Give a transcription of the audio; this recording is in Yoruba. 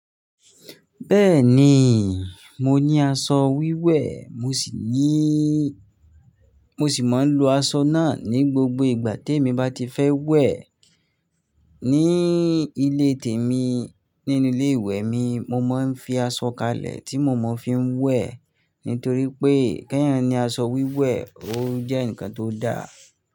Bẹ́ẹ̀ni, mo ní aṣọ wíwẹ̀, mo sì níí, mo sì máa ń lo aṣọ náà ní gbogbo ìgbà tí èmi bá ti fẹ́ wẹ̀. Ni ilé tèmi nínú ilé ìwẹ̀ mi, mo máa ń fi aṣọ kalẹ̀ tí mo mọ̀ fi ń wẹ̀. Nítorí pé, kẹ́yan ni aṣọ wíwẹ̀, ó jẹ́ ǹkan tó da.